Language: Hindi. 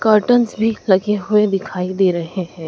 कर्टनस भी लगे हुए दिखाई दे रहे हैं।